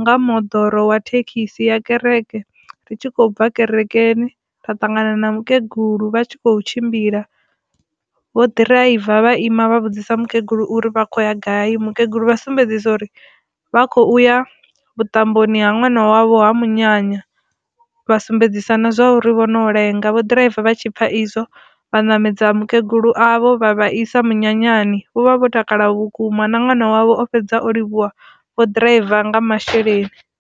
nga moḓoro wa thekhisi ya kereke ri tshi khou bva kerekeni nda ṱangana na mukegulu vha tshi kho tshimbila vho ḓiraiva vha ima vha vhudzisa mukegulu uri vha khou ya gai mukegulu vha sumbedzisa uri vha khou ya vhuṱamboni ha ṅwana wavho ha munyanya, vha sumbedzisa na zwa uri vho no lenga vho ḓiraiva vha tshipfa izwo vha ṋamedza mukegulu avho vha vha isa minyanyani vho vha vho takala vhukuma na ṅwana wavho o fhedza o livhuwa vho ḓiraiva nga masheleni.